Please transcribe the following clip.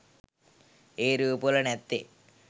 ඒ රූප වල නැත්තෙ?